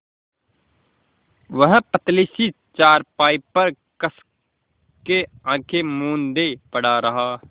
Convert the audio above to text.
वह पतली सी चारपाई पर कस के आँखें मूँदे पड़ा रहा